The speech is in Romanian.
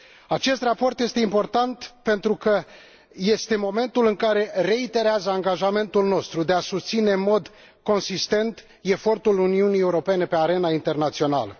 Acest raport este important pentru că este momentul în care se reiterează angajamentul nostru de a susține în mod consistent efortul Uniunii Europene pe arena internațională.